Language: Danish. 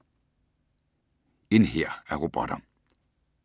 En hær af robotter